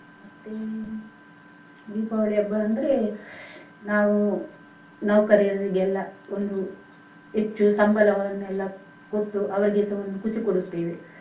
ಮತ್ತೆ ದೀಪಾವಳಿ ಹಬ್ಬ ಅಂದ್ರೆ ನಾವು ನೌಕರರಿಗೆಲ್ಲಾ ಒಂದು ಹೆಚ್ಚು ಸಂಬಳವನ್ನೆಲ್ಲಾ ಕೊಟ್ಟು ಅವರಿಗೆಸ ಒಂದು ಖುಷಿ ಕೊಡುತ್ತೇವೆ.